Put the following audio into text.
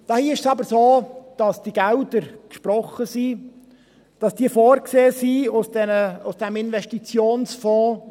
Hier ist es aber so, dass die Gelder aus dem Investitionsfonds gesprochen wurden und vorgesehen sind.